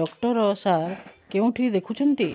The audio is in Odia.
ଡକ୍ଟର ସାର କେଉଁଠି ଦେଖୁଛନ୍ତ